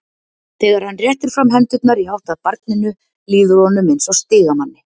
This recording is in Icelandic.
Þegar hann réttir fram hendurnar í átt að barninu líður honum eins og stigamanni.